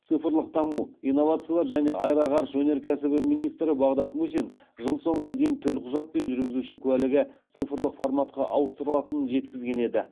цифрлық даму инновациялар және аэроғарыш өнеркәсібі министрі бағдат мусин жыл соңына дейін төлқұжат пен жүргізуші куәлігі цифрлық форматқа ауыстырылатынын жеткізген еді